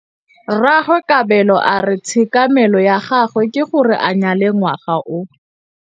Rragwe Kabelo a re tshekamêlô ya gagwe ke gore a nyale ngwaga o.